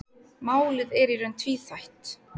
Málið er í raun tvíþætt.